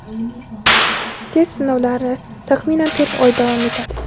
test sinovlari taxminan to‘rt oy davom etadi.